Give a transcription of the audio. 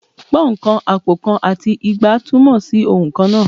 Pọ́ùn kan, àpò kan, àti igba túmọ̀ sí ohùn kan náà